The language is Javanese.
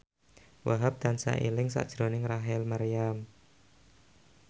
Wahhab tansah eling sakjroning Rachel Maryam